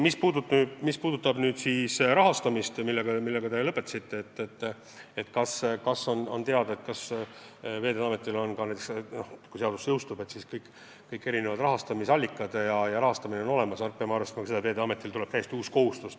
Mis puudutab rahastamist, mille kohta sa küsisid – et kas Veeteede Ametil on juhuks, kui seadus jõustub, rahastus olemas –, siis me peame tõesti arvestama, et Veeteede Ametile tuleb täiesti uus kohustus.